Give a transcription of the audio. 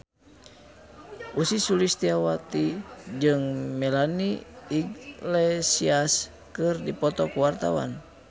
Ussy Sulistyawati jeung Melanie Iglesias keur dipoto ku wartawan